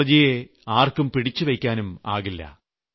ടെക്നോളജിയെ ആർക്കും പിടിച്ചുവെയ്ക്കാനും ആകില്ല